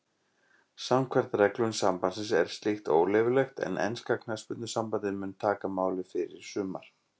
Samkvæmt reglum sambandsins er slíkt óleyfilegt en enska knattspyrnusambandið mun taka máið fyrir í sumar.